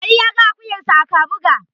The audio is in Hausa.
Ali ya ga akuyarsa a Kabuga.